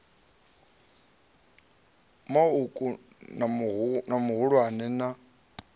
ma uku na mahulwane na